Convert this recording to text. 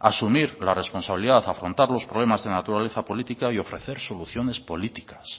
asumir la responsabilidad afrontar los problemas de naturaleza política y ofrecer soluciones políticas